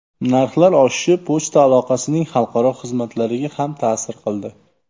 Narxlar oshishi pochta aloqasining xalqaro xizmatlariga ham ta’sir qildi.